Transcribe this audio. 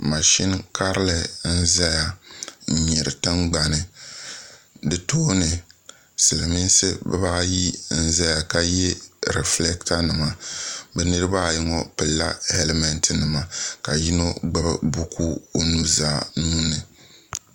bohambu duu n boŋo mashina bɛ bohambu duu maa puuni ka paɣa ni doo biɛni doo maa ʒimi ka paɣa maa ʒɛya mashina maa pala teebuli zuɣu duu maa kom nyɛla zaɣ dozim paɣa maa yɛla liiga nuɣso ka doo maa yɛ zaɣ ʒiɛ ka